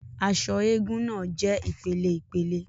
Aṣọ egúngún náà jẹ ìpeleìpele